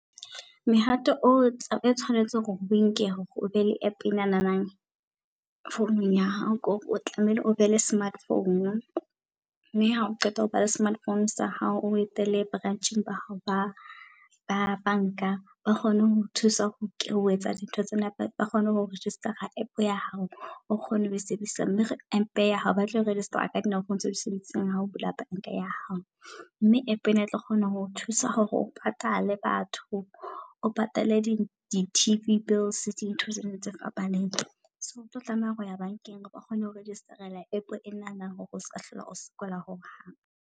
Mehato o tshwanetseng hore o enke hore o be le app enanana founung ya hao. Ke hore o tlamehile o be le smartphone, mme ha o qeta ho ba le smartphone sa hao o etele branch-eng ba hao ba ba banka. Ba kgone ho o thusa ho etsa dintho tsena ba kgone ho register-a App ya hao o kgone ho e sebedisa. Mme App ya hao batlo register-a ka phone tseo di sebedisang ha o bula bank-a ya hao. Mme app ena e tlo kgona ho o thusa hore o patale batho, o patale di-T_V bills dintho tsena tse fapaneng. So o tlo tlameha ho ya bankeng ba kgone ho register-ela App e nana hore o ska hlola o sokola hohang.